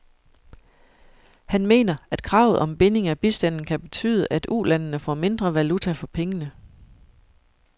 Han mener, at kravet om binding af bistanden kan betyde, at ulandene får mindre valuta for pengene.